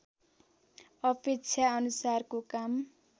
अपेक्षा अनुसारको काम